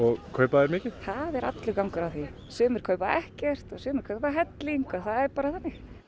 kaupa þau mikið það er allur gangur á því sumir kaupa ekkert sumir kaupa helling og það er bara þannig